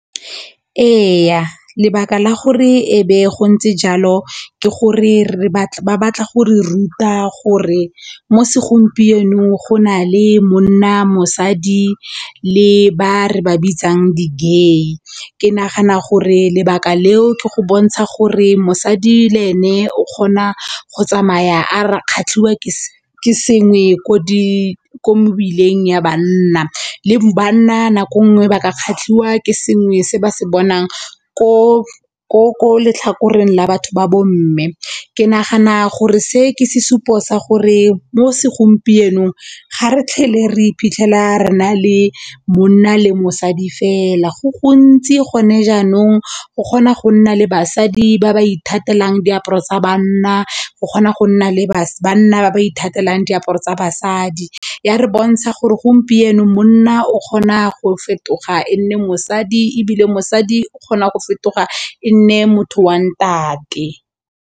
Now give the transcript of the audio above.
Ee, lebaka la gore e be go ntse jalo ke gore ba batla go re ruta gore mo segompienong go na le monna, mosadi le ba re ba bitsang di-gay. Ke nagana go gore lebaka leo ke go bontsha gore mosadi le ene o kgona go tsamaya a kgatlhiwa ke sengwe ko mo mebileng ya bana le banna nako nngwe ba ka kgatlhiwa ke sengwe se ba se bonang ko letlhakoreng la batho ba bomme ke nagana gore se ke sesupo sa gore mo segompienong ga re tlhagelwe re iphitlhela re na le monna le mosadi fela go gontsi gone jaanong go kgona go nna le basadi ba ba ithatelang diaparo tsa banna, go kgona go nna le bana ba ba ithatela diaparo tsa basadi. Ya re bontsha gore gompieno monna o kgona go fetoga e nne mosadi ebile mosadi o kgona go fetoga e nne motho wa ntate